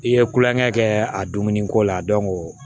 I ye kulonkɛ kɛ a dumuniko la